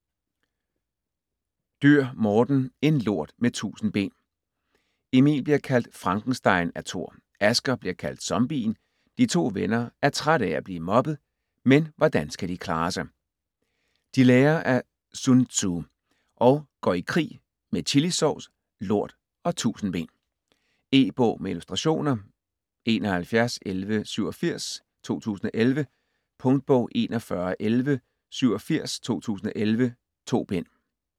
Dürr, Morten: En lort med tusind ben Emil bliver kaldt Frankenstein af Thor, Asger bliver kaldt Zombien. De to venner er trætte af at blive mobbet, men hvordan skal de klare sig? De lærer af Sun Tzu og går i krig med chilisovs, lort og tusindben. E-bog med illustrationer 711187 2011. Punktbog 411187 2011. 2 bind.